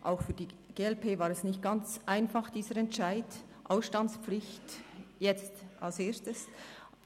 Auch für die glp war es nicht ganz einfach, dass dieser Entscheid bezüglich der Ausstandspflicht jetzt als Erstes kommt.